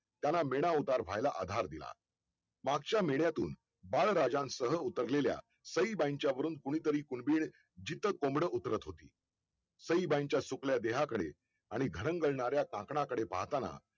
त्यांना मेधावधार व्हायला आधार दिला मागच्या मेढ्यातून बाळ राजा सह उतरलेल्या सईबाईंच्या वरून कोण्ही तरी कुलबीड जिथं कोंबड उतरत होती सईबाईंच्या सुटल्या देहा कडे आणि घरं जळणाऱ्या झाकण कडे पाहताना